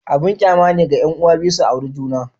Abun kyama ne ga 'yan'uwa biyu su auri juna.